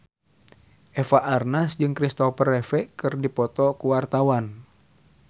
Eva Arnaz jeung Christopher Reeve keur dipoto ku wartawan